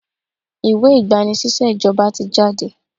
Ìwé ìgbà-ni-síṣẹ́ ìjọba ti jáde.